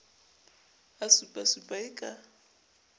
a supasupa e ka o